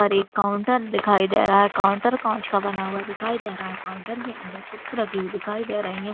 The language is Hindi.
पर एक काउंटर दिखाई दे रहा है। काउंटर काँच का बना हुआ दिखाई दे रहा है। काउंटर के अंदर बुकस रखी हुई दिखाई दे रही है।